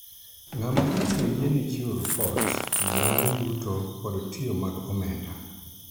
ng'ama ibiro yiene chiwo ripot mag yuto kod tiyo mag omenda